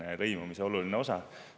See on lõimumise oluline osa.